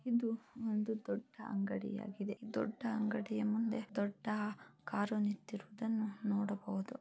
ಇದು ಒಂದು ದೊಡ್ಡ ಅಂಗಡಿ ಆಗಿದೆ ದೊಡ್ಡ ಅಂಗಡಿಯ ಮುಂದೆ ದೊಡ್ಡ ಕಾರು ನಿಂತಿರುವುದನ್ನು ನೋಡಬಹುದು .